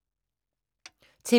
TV 2